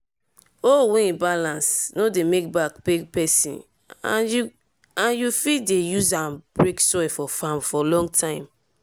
hoe wey balance no dey make back pain peson and you fit dey use am break soil for farm for long time.